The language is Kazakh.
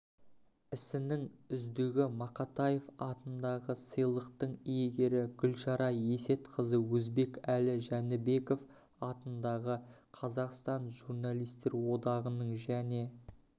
ісінің үздігі мақатаев атындағы сыйлықтың иегері гүлшара есетқызы өзбекәлі жәнібеков атындағы қазақстан журналистер одағының және